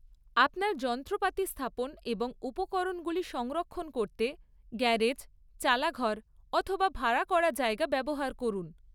আপনার যন্ত্রপাতি স্থাপন এবং উপকরণগুলি সংরক্ষণ করতে গ্যারেজ, চালাঘর অথবা ভাড়া করা জায়গা ব্যবহার করুন।